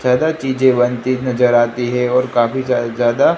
ज़्यादा चीजें नजर आती है और काफी जा ज्यादा--